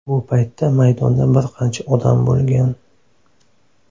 Bu paytda maydonda bir qancha odam bo‘lgan.